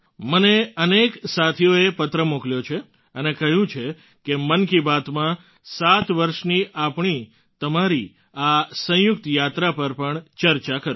મને અનેક સાથીઓએ પત્ર મોકલ્યો છે અને કહ્યું છે કે મન કી બાતમાં સાત વર્ષની આપણીતમારી આ સંયુક્ત યાત્રા પર પણ ચર્ચા કરું